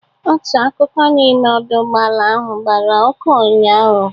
Otu akụkụ n'ime ọdọ ụgbọala ahụ gbara ọkụ ụnyaahụ.